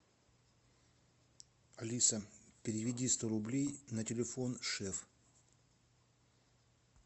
алиса переведи сто рублей на телефон шеф